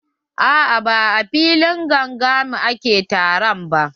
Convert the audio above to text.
A'a ba a filin gangami ake taro ba.